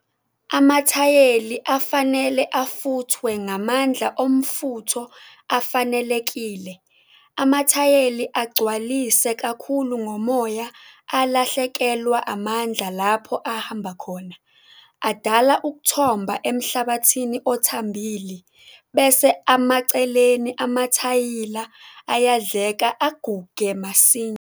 Amathayeli afanele afuthwe ngamandla omfutho afanelekile. Amathayeli agcwalise kakhulu ngomoya alahlekelwa amandla lapho ahamba khona. Adala ukuthomba emhlabathini othambili bese amaceleni amathayila ayadleka aguge masinya.